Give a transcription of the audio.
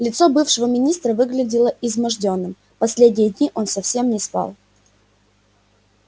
лицо бывшего министра выглядело измождённым последние дни он совсем не спал